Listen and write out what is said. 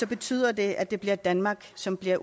betyder det at det bliver danmark som bliver